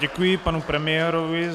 Děkuji panu premiérovi.